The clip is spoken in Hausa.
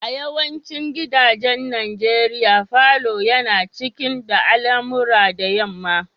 A yawancin gidajen nigeria, falon yana cikin da alamura da yamma.